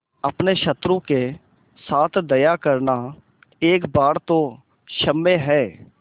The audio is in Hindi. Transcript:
अपने शत्रु के साथ दया करना एक बार तो क्षम्य है